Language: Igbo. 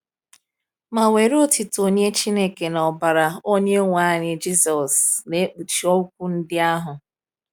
Ma were otuto nye Chineke na ọbara Onyenwe anyị Jisọs na-ekpuchi okwu ndị ahụ.